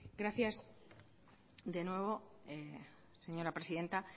gracias de nuevo señora presidenta